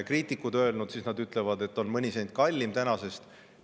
Kriitikud on öelnud, et on mõni sent kallim tänasest.